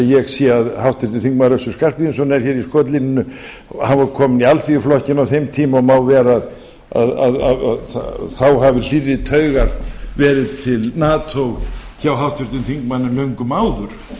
ég sé að háttvirtur þingmaður össur skarphéðinsson er hér í skotlínunni hann var kominn í alþýðuflokkinn á þeim tíma og má vera að það hafi hlýrri taugar verið til nato hjá háttvirtum þingmanni en löngum áður